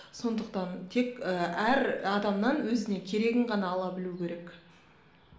сондықтан тек ііі әр адамнан өзіне керегін ғана ала білуі керек